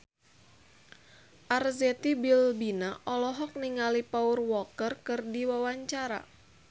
Arzetti Bilbina olohok ningali Paul Walker keur diwawancara